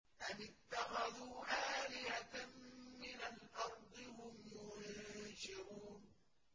أَمِ اتَّخَذُوا آلِهَةً مِّنَ الْأَرْضِ هُمْ يُنشِرُونَ